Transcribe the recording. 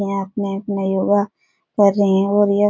या अपने-अपने योगा कर रही हैं और यह --